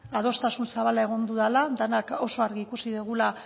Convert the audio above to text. adostasun zabala egon dudala denak oso argi ikusi dugula